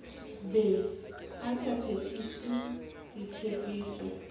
be a sa phethise ditshepiso